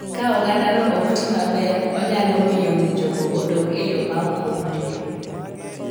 Ka ogandano ok ti maber, onyalo miyo ng'injogo odong e yo ma ok owinjore.